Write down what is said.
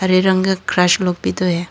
हरे रंग लोग भी तो है।